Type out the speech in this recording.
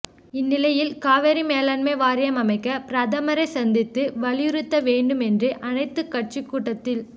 இந்நிலையில் காவிரி மேலாண்மை வாரியம் அமைக்க பிரதமரை சந்தித்து வலியுறுத்த வேண்டும் என்று அனைத்துக் கட்சி கூட்டத்தில்